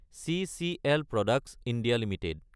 CCL products (India) Ltd